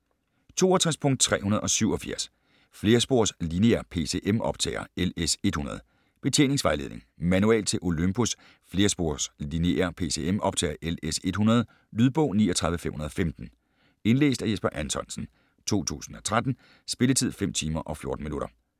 62.387 Flerspors lineær PCM optager LS-100: Betjeningsvejledning Manual til Olympus flerspors lineær PCM optager LS-100. Lydbog 39515 Indlæst af Jesper Anthonsen, 2013. Spilletid: 5 timer, 14 minutter.